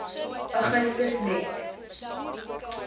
augustus net